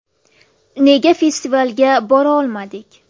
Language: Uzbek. Nega festivalga borolmadik?